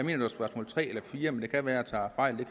det var spørgsmål tre eller fire men det kan være jeg tager fejl det